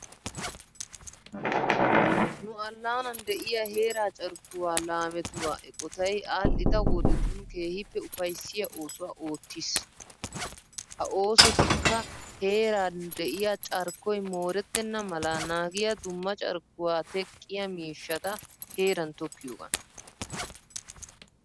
Nu allaanan de'iya heera carkkuwa laametuwa eqotay aadhdhida wodetun keehippe ufayissiya oosuwa oottiis. Ha oosotikka heera de'iya carikkoy moorettenna mala naagiya dumma carikkuwa teqqiya miishshata heeran tokkiyogaan.